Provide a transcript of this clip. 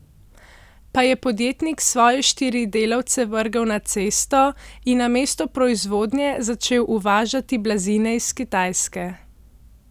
Pa je podjetnik svoje štiri delavce vrgel na cesto in namesto proizvodnje začel uvažati blazine iz Kitajske.